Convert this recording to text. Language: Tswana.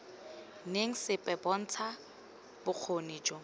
reng sepe bontsha bokgoni jo